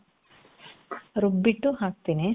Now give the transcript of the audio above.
ರುಬ್ಬಿಟ್ಟು ಹಾಕ್ತೀನಿ.